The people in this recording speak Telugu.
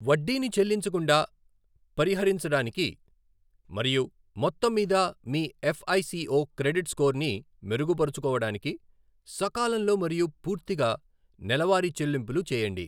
వడ్డీని చెల్లించకుండా పరిహరించడానికి మరియు మొత్తం మీద మీ ఎఫ్ఐసిఓ క్రెడిట్ స్కోర్ని మెరుగుపరుచుకోవడానికి, సకాలంలో మరియు పూర్తిగా నెలవారీ చెల్లింపులు చేయండి.